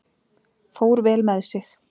Fór vel með sig.